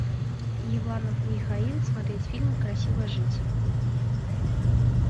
иванов михаил смотреть фильм красиво жить